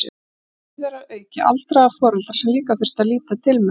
Og síðar að auki aldraða foreldra sem líka þurfti að líta til með.